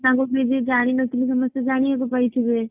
ତାଙ୍କୁ ଯିଏ ଯିଏ ଜାଣି ନଥିବେ ଜାଣିବାକୁ ପାଇଥିବେ।